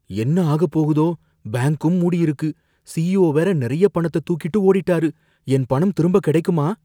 என்ன ஆகப்போகுதோ, பேங்க்கும் மூடியிருக்கு, சிஇஓ வேற நறைய பணத்தை தூக்கிட்டு ஓடிட்டாரு, என் பணம் திரும்ப கிடைக்குமா?